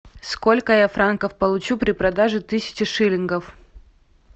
сколько я франков получу при продаже тысячи шиллингов